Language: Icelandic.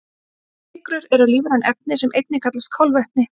Sykrur eru lífræn efni sem einnig kallast kolvetni.